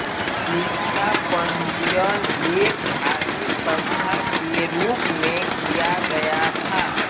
इसका पंजीयन एक धार्मिक संस्था के रूप में किया गया था